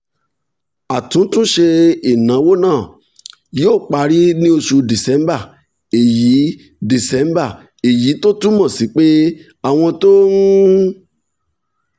àtúntúnṣe ìnáwó náà yóò parí ní oṣù december èyí december èyí tó túmọ̀ sí pé àwọn tó ń